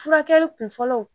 Furakɛ kun fɔlɔ